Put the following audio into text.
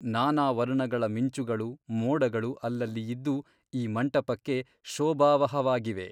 ನಾನಾ ವರ್ಣಗಳ ಮಿಂಚುಗಳು ಮೋಡಗಳು ಅಲ್ಲಲ್ಲಿ ಇದ್ದು ಈ ಮಂಟಪಕ್ಕೆ ಶೋಭಾವಹವಾಗಿವೆ.